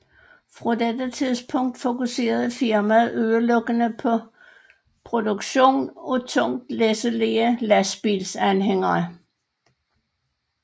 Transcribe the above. Fra dette tidspunkt fokuserede firmaet udelukkende på produktion af tungt læsselige lastbilsanhængere